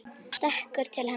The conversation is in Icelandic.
Og stekkur til hennar.